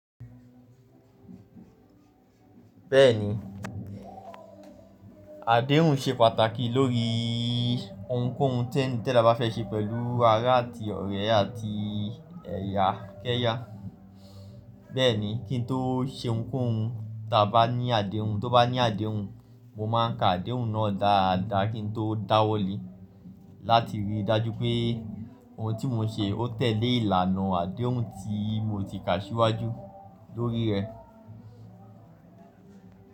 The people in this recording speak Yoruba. Bẹ́ẹ̀ni, àdéhùn ṣe pàtàkì lórí ohunkóhun tí ẹda bá fẹ́ ṣe pẹ̀lú ará àti ọ̀rẹ́ àti ẹ̀yà kẹ́yà. Bẹ́ẹ̀ni, kí n tó ṣe ohunkóhun tí a bá ní àdéhùn, tó bá ní àdéhùn, mo máa ń ka àdéhùn náà dáadáa kí n tó dáwọ́ lé láti rí i dájú pé ohun tí mo ṣe ó tẹ̀lé ìlànà àdéhùn tí mo ti kà ṣíwájú lórí rẹ̀.